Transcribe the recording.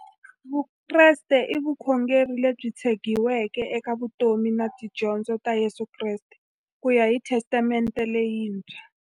Vukreste i vukhongeri lebyi tshegiweke eka vutomi na tidyondzo ta Yesu Kreste kuya hi Testamente leyintshwa.